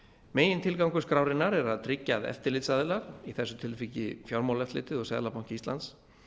megintilgangur skrárinnar er að tryggja að eftirlitsaðilar í þessu tilviki fjármálaeftirlitið og seðlabanki íslands